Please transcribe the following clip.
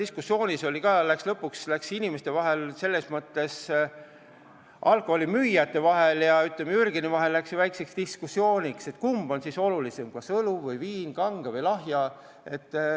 Komisjonis tekkis lõpuks alkoholimüüjate ja Jürgeni vahel väike diskussioon, kumb on siis olulisem, kas õlu või viin, kange või lahja alkohol.